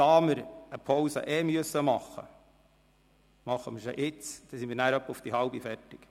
– Da wir sowieso eine Pause einlegen müssen, machen wir sie jetzt, dann sind wir ungefähr um 16.30 Uhr fertig.